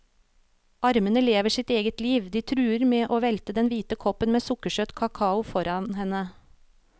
Armene lever sitt eget liv, de truer med å velte den hvite koppen med sukkersøt kakao foran henne.